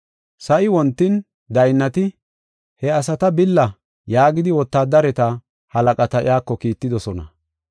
Sa7i wontin daynnati, “He asata billa” yaagidi wotaadareta halaqata iyako kiittidosona.